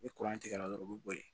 Ni tigɛra dɔrɔn u bi bɔ yen